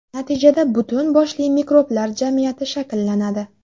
Natijada, butun boshli mikroblar jamiyati shakllanadi.